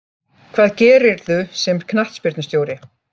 Hvað gerirðu sem knattspyrnustjóri